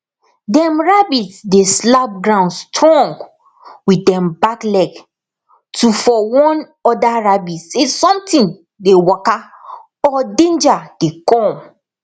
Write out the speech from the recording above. dem rabbit dey slap ground strong with dem back leg to for warn oda rabbit se somtin dey waka or denja dey com